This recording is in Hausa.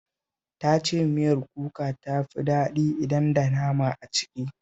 Ta ce miyar kuka ta fi daɗi idan da nama a ciki